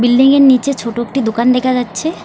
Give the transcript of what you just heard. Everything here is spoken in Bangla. বিল্ডিংয়ের নীচে ছোট একটি দুকান দেখা যাচ্ছে।